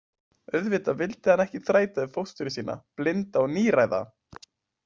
Auðvitað vildi hann ekki þræta við fóstru sína, blinda og níræða.